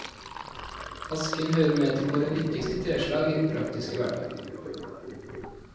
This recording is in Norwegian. Asken hører med til våre nyttigste treslag i den praktiske hverdag.